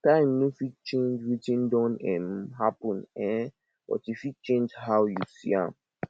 time no fit change wetin don um happen um but e fit change how you see am